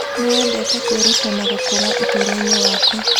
Nĩ wendete kwĩruta na gũkũra ũtũũro-inĩ waku.